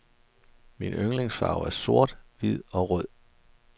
Mine yndlingsfarver er sort, hvid og rød.